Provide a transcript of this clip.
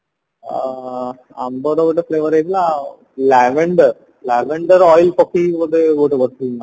ଆ amber ଗୋଟେ flavor ହେଇଥିଲା ଆଉ lavender lavender oil ପକେଇକି ବୋଧେ ଗୋଟେ କରିଥିଲୁ ନା କଣ